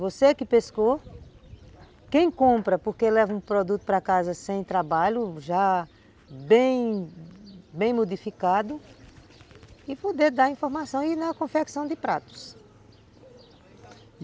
Você que pescou, quem compra, porque leva um produto para casa sem trabalho, já bem, bem modificado, e poder dar informação aí na confecção de pratos.